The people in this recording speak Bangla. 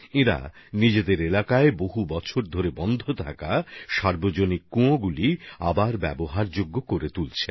তাঁরা নিজেদের এলাকায় বছরের পর বছর পরিত্যক্ত হয়ে থাকা বারোয়ারি কুয়োকে ফের ব্যবহারের উপযোগী করে তুলছেন